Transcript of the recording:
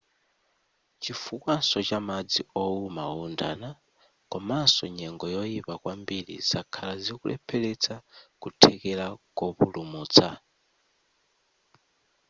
chifukwaso cha madzi ouma oundana komaso nyengo yoyipa kwambiri zakhala zikulepheretsa kuthekera kopulumutsa